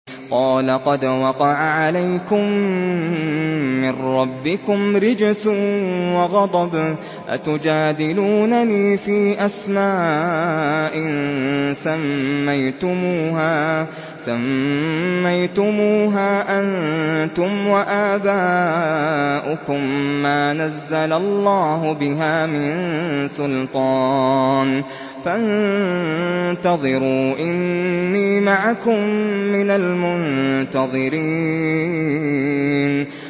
قَالَ قَدْ وَقَعَ عَلَيْكُم مِّن رَّبِّكُمْ رِجْسٌ وَغَضَبٌ ۖ أَتُجَادِلُونَنِي فِي أَسْمَاءٍ سَمَّيْتُمُوهَا أَنتُمْ وَآبَاؤُكُم مَّا نَزَّلَ اللَّهُ بِهَا مِن سُلْطَانٍ ۚ فَانتَظِرُوا إِنِّي مَعَكُم مِّنَ الْمُنتَظِرِينَ